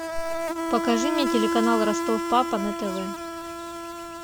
покажи мне телеканал ростов папа на тв